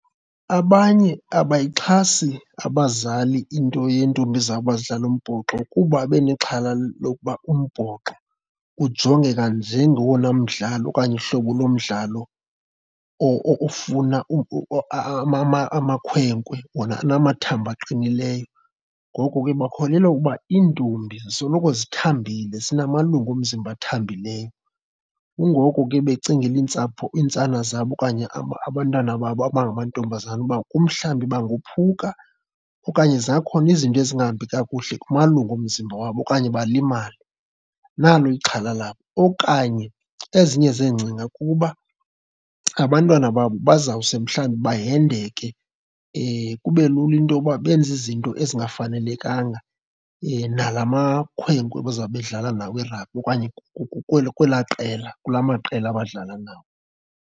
Abanye abayixhasi abazali into yeentombi zabo uba zidlale umbhoxo kuba babe nexhala lokuba umbhoxo ujongeka njengowona mdlalo okanye uhlobo lomdlalo ofuna amakhwenkwe wona anamathambo aqinileyo. Ngoko ke bakholelwa ukuba iintombi zisoloko zithambile, zinamalungu omzimba athambileyo. Kungoko ke becingela iintsapho iintsana zabo okanye abantwana babo abangamantombazana uba kumhlambi bangophuka okanye zingakhona izinto ezingahambi kakuhle kumalungu omzimba wabo okanye balimale, nalo ixhala labo. Okanye ezinye zeengcinga kuba abantwana babo bazawusuke mhlawumbi bahendeke, kube lula intoba benze izinto ezingafanelekanga nala makhwenkwe bazawube bedlala nawo irhabi okanye kwelaa qela, kulaa maqela badlala nawo.